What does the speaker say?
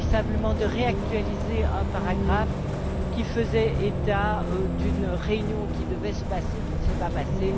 Il s'agit uniquement de réactualiser un paragraphe qui faisait état d'une réunion qui devait se passer et qui ne s'est pas passée.